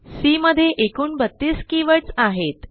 C मध्ये एकूण बत्तीस कीवर्ड्स आहेत